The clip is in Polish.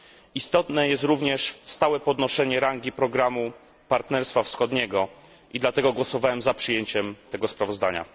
Istotne jest również stałe podnoszenie rangi programu partnerstwa wschodniego i dlatego głosowałem za przyjęciem tego sprawozdania.